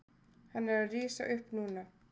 Hann er að rísa upp núna.